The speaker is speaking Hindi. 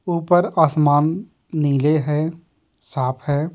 ऊपर आसमान नीले हैं साफ है।